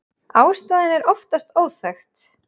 Ástæðan er oftast óþekkt.